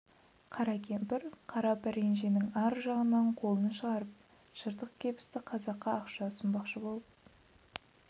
қара кемпір қара пәренженің ар жағынан қолын шығарып жыртық кебісті қазаққа ақша ұсынбақшы болып